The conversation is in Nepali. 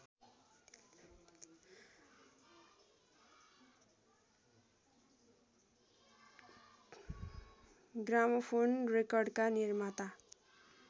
ग्रामोफोन रेकर्डका निर्माता